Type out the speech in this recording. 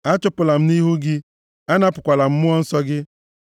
Achụpụla m nʼihu gị, anapụkwala m Mmụọ Nsọ gị.